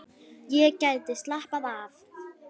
Ég gæti slappað af.